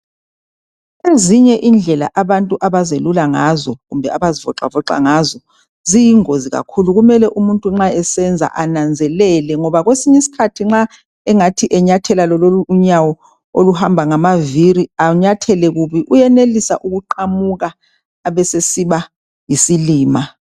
ezinye indlela abantu abaziyelula ngazo kumbe abazivoxavoxa ngazo ziyingozi kakhulu kumele umuntu nxa esenza ananzelele ngoba kwesinye isikhathi nxa engathi enyathela lonolu unyawo oluhamba ngamavili anyathele kubi uyanelisa ukuqamuka ebesesiba yisilima